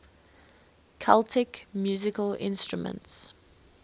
celtic musical instruments